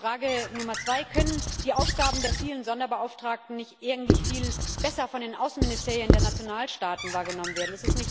Frage Nummer zwei Können die Aufgaben der vielen Sonderbeauftragten nicht eigentlich viel besser von den Außenministerien der Nationalstaaten wahrgenommen werden?